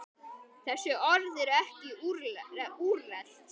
Þessi orð eru ekki úrelt.